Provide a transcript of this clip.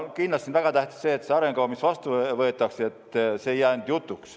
Kindlasti on väga tähtis see, et see arengukava, mis vastu võetakse, ei jää ainult jutuks.